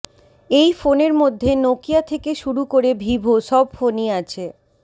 এই ফোনের মধ্যে নোকিয়া থেকে শুরু করে ভিভো সব ফোনই আছে